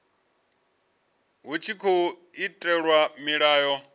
hu tshi tkhou itelwa mulayo